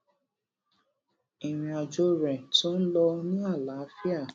ìrìn àjò rè tó ń lọ ní àlàáfíà